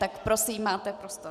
Tak prosím, máte prostor.